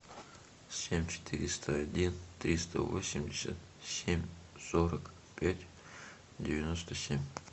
семь четыреста один триста восемьдесят семь сорок пять девяносто семь